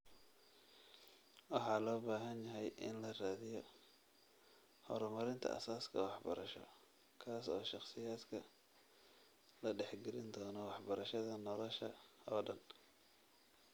Waxa loo baahan yahay in la raadiyo waa horumarinta aasaaska waxbarasho kaas oo shakhsiyaadka la dhex gelin doono waxbarashada nolosha oo dhan.